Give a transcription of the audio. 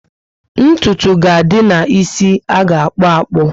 Ntụtụ ga adị ná ísì aga akpu akpu